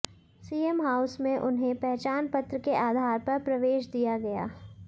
CM house में उन्हें पहचान पत्र के आधार पर प्रवेश दिया गया